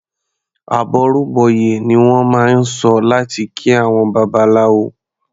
"Àbọrú bọyè" ni wọ́n máa ń sọ láti kí àwọn Babaláwo.